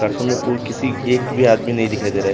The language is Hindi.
प्लेटफॉर्म मे कोई किसी एक भीं आदमी नहीं दिखाई दे रहा है।